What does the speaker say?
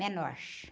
Menor.